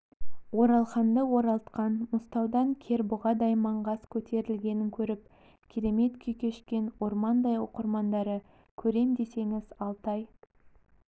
оралханды оралтқан мұзтаудан кербұғыдай маңғаз көтерілгенін көріп керемет күй кешкен ормандай оқырмандары көрем десеңіз алтай